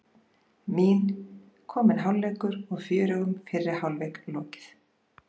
Mín: Kominn hálfleikur og fjörugum fyrri hálfleik lokið.